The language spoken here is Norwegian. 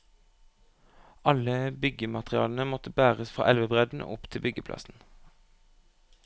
Alle byggematerialene måtte bæres fra elvebredden og opp til byggeplassen.